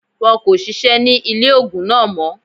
Wọn kò sisẹ́ ní ilé ògùn náà mọ́